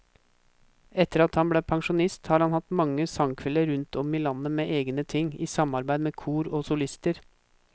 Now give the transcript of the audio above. Etter at han ble pensjonist har han hatt mange sangkvelder rundt om i landet med egne ting, i samarbeid med kor og solister.